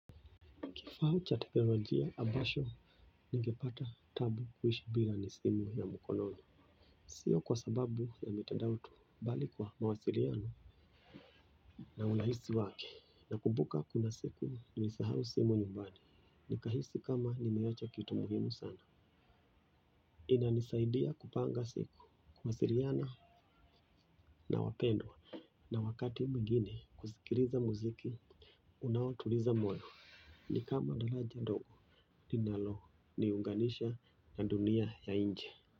Kifaa cha teknolojia ambacho ningepata taabu kuishi bila ni simu ya mkononi sio kwa sababu ya mitandao tu bali kwa mawasiliano na urahisi wake. Na kumbuka kuna siku nilisahau simu nyumbani. Nikahisi kama nimeacha kitu muhimu sana. Inanisaidia kupanga siku, kuwasiliana na wapendwa. Na wakati mwingine kuzikiliza muziki, unaotuliza moyo. Ni kama kijiji ndogo linalo niunganisha na dunia ya inje.